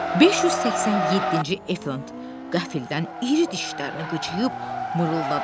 587-ci efant qəfildən iri dişlərini qıcıyıb mırıldadı.